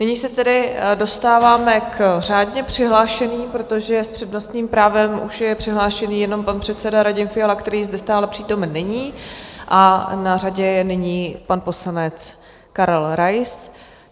Nyní se tedy dostáváme k řádně přihlášeným, protože s přednostním právem už je přihlášený jenom pan předseda Radim Fiala, který zde stále přítomen není, a na řadě je nyní pan poslanec Karel Rais.